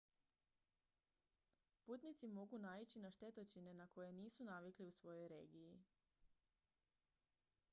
putnici mogu naići na štetočine na koje nisu navikli u svojoj regiji